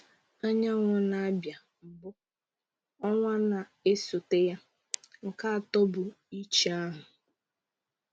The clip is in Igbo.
Anyanwụ na-abịa mbụ, ọnwa na-esote ya, nke atọ bụ ichi ahụ.